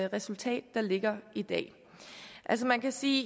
resultat der ligger i dag altså man kan sige